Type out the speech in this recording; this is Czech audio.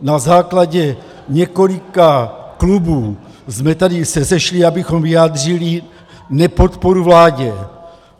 Na základě několika klubů jsme se tady sešli, abychom vyjádřili nepodporu vládě.